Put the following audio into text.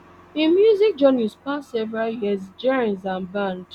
im music journey span several years genres and band